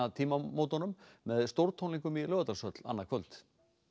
tímamótunum með stórtónleikum í Laugardalshöll annað kvöld